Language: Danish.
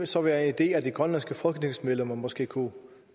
så være en idé at de grønlandske folketingsmedlemmer måske kunne